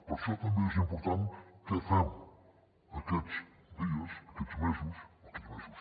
per això també és important què fem aquests dies aquests mesos aquests mesos